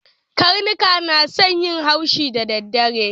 Karnuka na son yin haushi da dadare